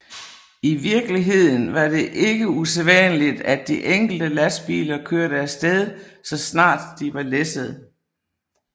I virkeligheden var det ikke usædvanligt at de enkelte lastbiler kørte af sted så snart de var læsset